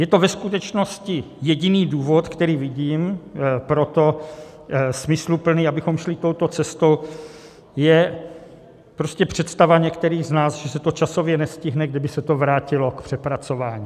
Je to ve skutečnosti jediný důvod, který vidím, pro to, smysluplný, abychom šli touto cestou, je prostě představa některých z nás, že se to časově nestihne, kdyby se to vrátilo k přepracování.